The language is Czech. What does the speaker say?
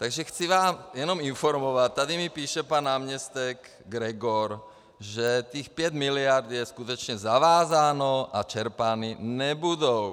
Takže chci vás jenom informovat, tady mi píše pan náměstek Gregor, že těch pět miliard je skutečně zavázáno a čerpány nebudou.